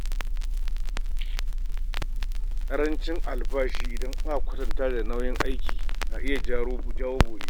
Karancin albashi idan aka kwatanta da nauyin aiki na iya jawo bore.